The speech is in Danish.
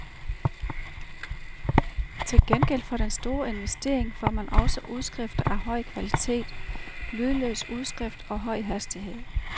Til gengæld for den store investering får man også udskrifter af høj kvalitet, lydløs udskrift og høj hastighed.